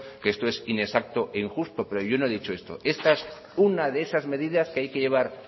que eso es inexacto e injusto pero yo no he dicho eso esta es una de esas medidas que hay que llevar